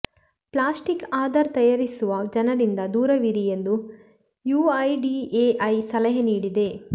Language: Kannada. ಪ್ಲಾಸ್ಟಿಕ್ ಆಧಾರ್ ತಯಾರಿಸುವ ಜನರಿಂದ ದೂರವಿರಿ ಎಂದೂ ಯುಐಡಿಎಐ ಸಲಹೆ ನೀಡಿದೆ